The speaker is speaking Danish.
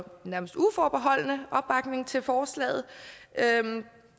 nærmest uforbeholdne opbakning til forslaget